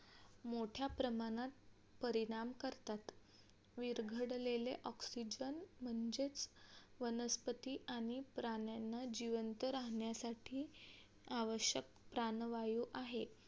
मोठ्या प्रमाणात परिणाम करतात विरघळलेले oxygen चे वनस्पती आणि प्राण्यांना जिवंत राहण्यासाठी आवश्यक प्राणवायू आहे